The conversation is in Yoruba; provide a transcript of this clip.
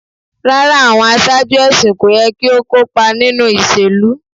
Rara, awọn aṣaaju ẹsin ko yẹ ki o kopa ninu iṣelu